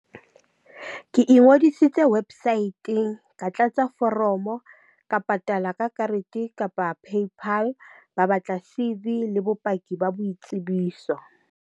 Ke ingodisitse website-ng ka tlatsa foromo ka patala ka karete kapa paypal ba batla C_V le bopaki ba boitsebiso.